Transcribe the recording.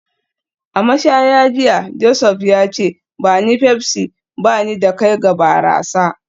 A mashaya jiya, Joseph ya ce; ba ni Pepsi, ba ni da kai ga barasa